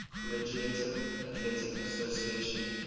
collegiate athletic association